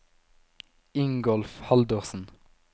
Ingolf Haldorsen